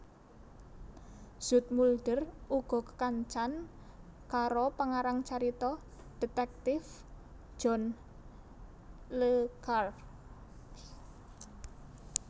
Zoetmulder uga kekancan karo pengarang carita dhétèktif John Le Carré